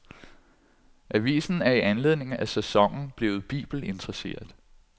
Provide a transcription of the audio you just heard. Avisen er i anledning af sæsonen blevet bibelinteresseret.